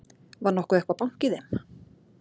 Var nokkuð eitthvað bank í þeim?